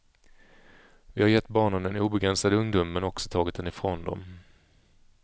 Vi har gett barnen en obegränsad ungdom men också tagit den ifrån dem.